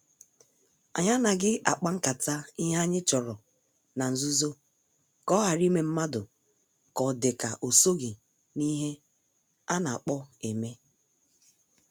Anyị anaghị akpa nkata ihe anyị chọrọ na-nzuzo ka ohara ime mmadụ ka ọ dị ka osoghi n' ihe I ana kpo eme.